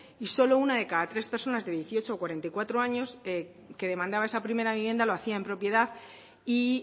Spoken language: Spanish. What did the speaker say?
y solo una de cada tres personas de dieciocho a cuarenta y cuatro años que demandaba esa primera vivienda lo hacía en propiedad y